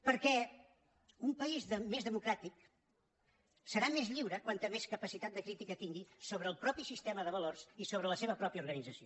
perquè un país més democràtic serà més lliure com més capacitat de crítica tingui sobre el propi sistema de valors i sobre la seva pròpia organització